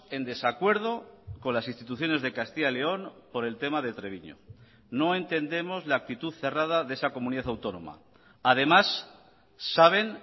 en desacuerdo con las instituciones de castilla y león por el tema de treviño no entendemos la actitud cerrada de esa comunidad autónoma además saben